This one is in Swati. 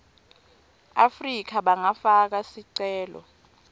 afrika bangafaka sicelo